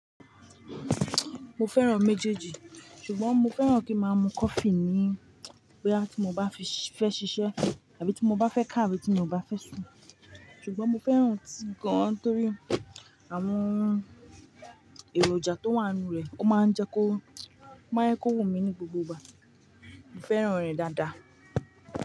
Mo fẹ́ràn méjèèjì, ṣùgbọ́n mo fẹ́ràn kí máa mu coffee mi ni boya tí mo bá fẹ́ ṣiṣẹ́ àbí tí mo bá fẹ́ ká àbí tí mo bá fẹ́ sùn. Ṣùgbọ́n mo fẹ́ràn tíì gan torí àwọn èròjà tó wà nínú rẹ̀ ó máa ń jẹ́ kó wù mí ní gbogbo ìgbà. Mo fẹ́ràn rẹ̀ dáadáa.